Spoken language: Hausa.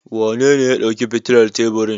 Wanene ya ɗauki fitilar teburin?